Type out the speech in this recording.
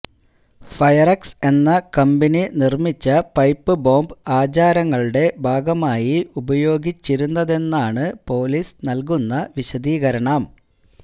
ഫയറക്സ് എന്ന കമ്പനി നിര്മ്മിച്ച പൈപ്പ് ബോംബ് ആചാരങ്ങളുടെ ഭാഗമായി ഉപയോഗിച്ചിരുന്നതെന്നാണ് പൊലീസ് നല്കുന്ന വിശദീകരണം